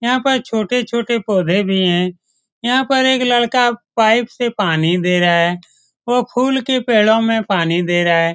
यहाँ पर छोटे-छोटे पौधे भी हैं यहाँ पर एक लड़का पाइप से पानी दे रहा है और फूल की पेड़ों में पानी दे रहा हैं।